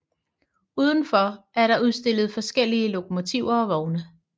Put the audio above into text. Udenfor er der udstillet forskellige lokomotiver og vogne